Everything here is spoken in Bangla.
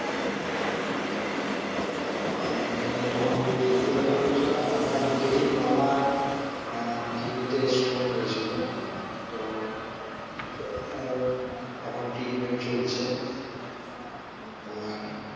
হ্যাঁ যখন তুমি কিডনির কথা বলছো আমার নিজেরই মামার আহ কিডনিতে stone হয়েছিল তো আহ এখন treatment চলছে তোমার